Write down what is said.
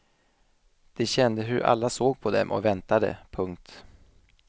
De kände hur alla såg på dem och väntade. punkt